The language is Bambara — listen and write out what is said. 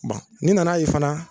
Bon n'i nan'a ye fana